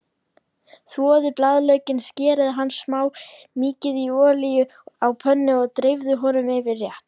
Þvoið blaðlaukinn, skerið hann smátt, mýkið í olíunni á pönnu og dreifið honum yfir réttinn.